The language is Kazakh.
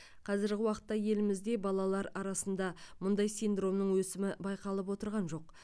қазіргі уақытта елімізде балалар арасында мұндай синдромның өсімі байқалып отырған жоқ